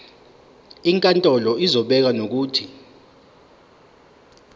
inkantolo izobeka nokuthi